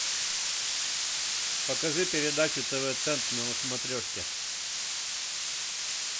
покажи передачу тв центр на смотрешке